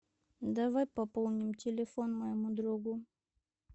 давай пополним телефон моему другу